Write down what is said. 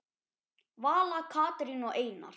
Vala, Katrín og Einar.